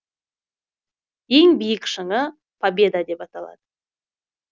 ең биік шыңы победа деп аталады